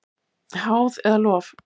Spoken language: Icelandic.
Háð eða lof?